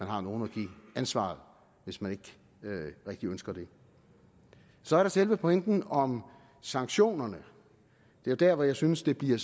har nogle at give ansvaret hvis man ikke rigtig ønsker det så er der selve pointen om sanktionerne det er der hvor jeg synes det bliver